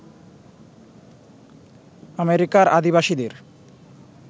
আমেরিকার আদিবাসীদের